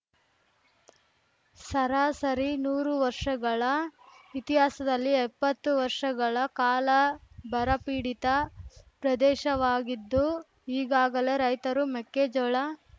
ಸರಾಸರಿ ನೂರು ವರ್ಷಗಳ ಇತಿಹಾಸದಲ್ಲಿ ಎಪ್ಪತ್ತು ವರ್ಷಗಳ ಕಾಲ ಬರಪೀಡಿತ ಪ್ರದೇಶವಾಗಿದ್ದು ಈಗಾಗಲೇ ರೈತರು ಮೆಕ್ಕೆಜೋಳ